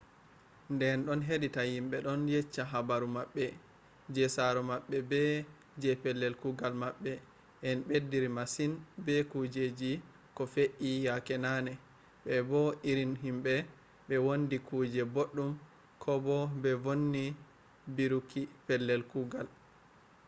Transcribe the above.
nde en ɗon heɗita himɓe ɗon yecca habaru maɓɓe je saro maɓɓe be je pellel kugal maɓɓe en beddiri masin be kujeji ko fe'i yake nane be bo irin himɓe ɓe wandi kuje boɗɗum ko bo ɓe vonni biiruki pellel kugal